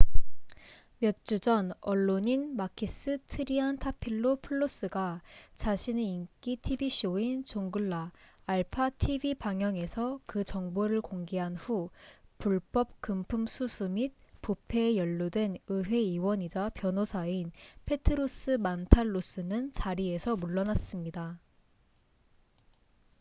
몇 주 전 언론인 마키스 트리안타필로풀로스가 자신의 인기 tv 쇼인 'zounglaalpha tv 방영'에서 그 정보를 공개한 후 불법 금품 수수 및 부패에 연루된 의회 의원이자 변호사인 페트로스 만탈로스는 자리에서 물러났습니다